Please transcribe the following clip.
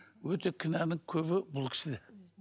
өте кінәнің көбі бұл кісіде